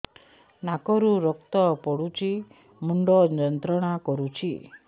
ନାକ ରୁ ରକ୍ତ ପଡ଼ୁଛି ମୁଣ୍ଡ ଯନ୍ତ୍ରଣା କରୁଛି